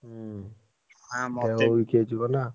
ହୁଁ weak ହେଇଯିବ ନା।